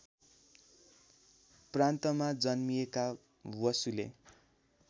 प्रान्तमा जन्मिएका बसुले